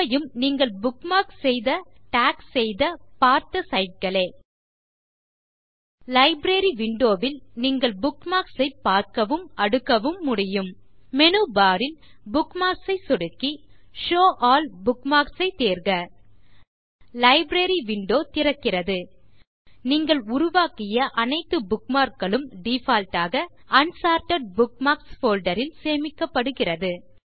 இவையும் நீங்கள் புக்மார்க் செய்த டாக் செய்த பார்த்த சைட் களே லைப்ரரி விண்டோ ல் நீங்கள் புக்மார்க்ஸ் ஐ பார்க்கவும் அடுக்கவும் முடியும் மேனு பார் ல் புக்மார்க்ஸ் ஐ சொடுக்கி ஷோவ் ஆல் புக்மார்க்ஸ் ஐத் தேர்க லைப்ரரி விண்டோ திறக்கிறது நீங்கள் உருவாக்கிய அனைத்து புக்மார்க் களும் டிஃபால்ட் ஆக அன்சார்ட்டட் புக்மார்க்ஸ் போல்டர் ல் சேமிக்கப்படுகிறது